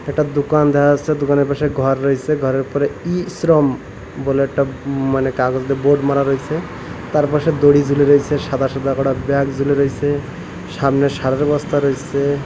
একটা দুকান দেহা যাসসে দুকানের পাশে ঘর রইসে ঘরের উপরে ই শ্রম বলে একটা মানে কাগজ দিয়ে বোর্ড মারা রইসে তার পাশে দড়ি ঝুলে রইসে সাদা সাদা করা ব্যাগ ঝুলে রইসে সামনে সারের বস্তা রইসে।